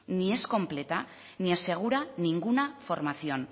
ni es completa ni asegura ninguna formación